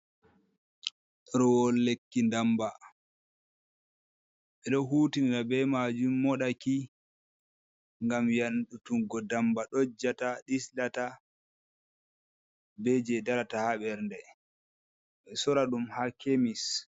Ɗerewol lekki ndamba, ɓeɗo hutinira be majum moɗaki ngam yandutuggo ndamba dojjata, dislata, be je darata ha bernde. Ɓe sora ɗum ha kemis.